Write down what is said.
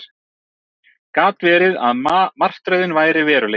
Gat verið að martröðin væri veruleiki?